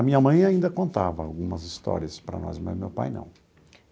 A minha mãe ainda contava algumas histórias para nós, mas meu pai não.